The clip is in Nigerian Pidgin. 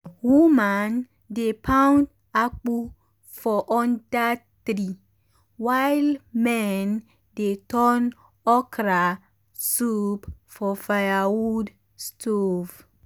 woman dey pound akpu for under tree while men dey turn okra soup for firewood stove.